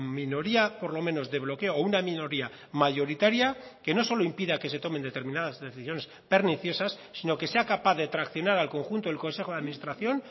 minoría por lo menos de bloqueo o una minoría mayoritaria que no solo impida que se tomen determinadas decisiones perniciosas sino que sea capaz de traccionar al conjunto del consejo de administración